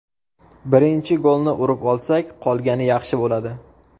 Birinchi golni urib olsak, qolgani yaxshi bo‘ladi.